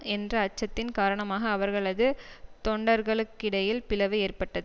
என்ற அச்சத்தின் காரணமாக அவர்களது தொண்டர்களுக்கிடையில் பிளவு ஏற்பட்டது